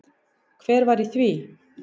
Hver var í því?